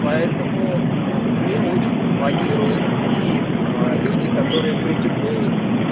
поэтому мне очень импонирует и люди которые критикуют